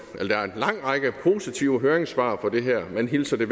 en lang række positive høringssvar på det her man hilser